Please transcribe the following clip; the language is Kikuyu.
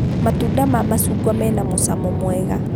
Matunda ma macungwa mena mũcamo mwega